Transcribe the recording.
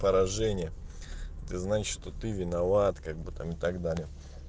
поражение ты знаешь что ты виноват как бы там и так далее